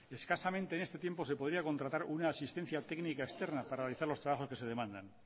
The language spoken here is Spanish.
escasamente en este tiempo se podría contratar una asistencia técnica externa para realizar los trabajos que se demandan